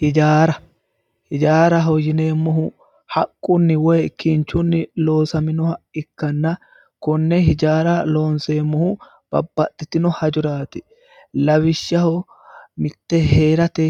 hijaara hijaaraho yineemmohu haqqunni woyi kinchunni loosaminoha ikkanna konne hijaara loonseemmohu babbaxxitino hajoraati lawishshaho mitte heerate